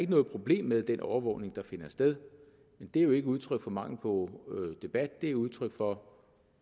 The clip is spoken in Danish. noget problem med den overvågning der finder sted men det er jo ikke udtryk for mangel på debat det er udtryk for